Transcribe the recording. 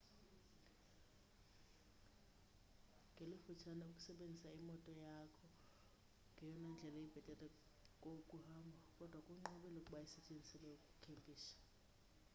ngelifutshane ukusebenzisa imoto yakho ngeyona ndlela ibhethele yokuhamba kodwa kunqabile ukuba isetyenziselwe ukukhempisha